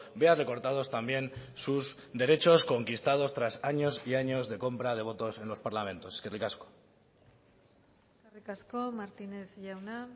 vea recortados también sus derechos conquistados tras años y años de compra de votos en los parlamentos eskerrik asko eskerrik asko martínez jauna